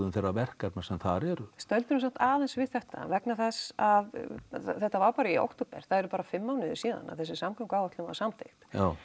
þeirra verkefna sem þar eru stöldrum samt aðeins við þetta vegna þess að þetta var bara í október það eru bara fimm mánuðir síðan að þessi samgönguáætlun var samþykkt